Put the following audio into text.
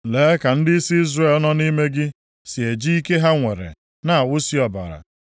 “ ‘Lee ka ndịisi Izrel nọ nʼime gị si e ji ike ha nwere na-awụsi ọbara.